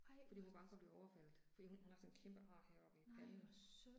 Ej hvor. Nej hvor synd